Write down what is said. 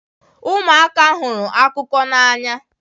Ụmụaka hụrụ akụkọ n'anya.